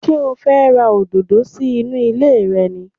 Ṣé o fẹ́ ra òdòdó sí inú ilé rẹ ni?